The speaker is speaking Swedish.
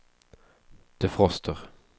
defroster